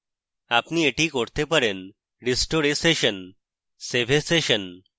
আপনি এটি করতে পারেন: restore a session save a session